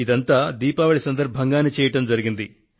ఇదంతా దీపావళి సందర్భంగానే చేయడం జరిగింది